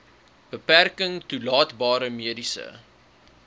beperking toelaatbare mediese